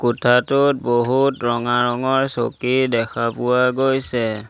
কোঠাটোত বহুত ৰঙা ৰঙৰ চকী দেখা পোৱা গৈছে।